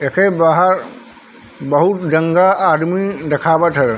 ये खे बाहर बहुत गन्दा आदमी देखा वत थे।